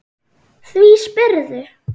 Því spyrðu?